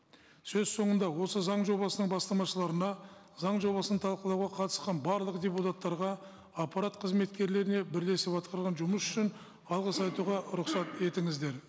сөз сонында осы заң жобасының бастамашыларына заң жобасын талқылауға қатысқан барлық депутаттарға аппарат қызметкерлеріне бірлесіп атқарылған жұмыс үшін алғыс айтуға рұқсат етіңіздер